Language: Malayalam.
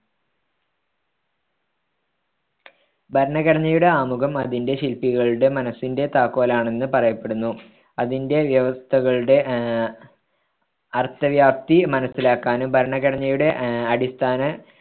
ഭരണഘടനയുടെ ആമുഖം അതിന്റെ ശില്പികളുടെ മനസ്സിന്റെ താക്കോലാണെന്ന് പറയപ്പെടുന്നു അതിന്റെ വ്യവസ്ഥകളുടെ ആഹ് അർത്ഥവ്യാപ്തി മനസ്സിലാക്കാനും ഭരണഘടനയുടെ അഹ് അടിസ്ഥാന